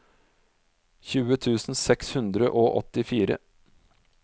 tjue tusen seks hundre og åttifire